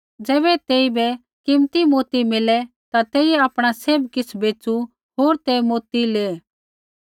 ज़ैबै तेइबै कीमती मोती मिलै ता तेइयै आपणा सैभ किछ़ बैच़ू होर ते मोती लेऐ